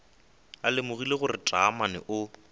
a lemogile gore taamane o